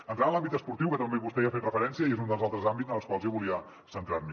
entrant en l’àmbit esportiu que també vostè hi ha fet referència i és un dels altres àmbits en els quals jo volia centrar me